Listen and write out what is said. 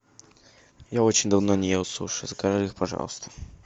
я очень давно не ел суши закажи их пожалуйста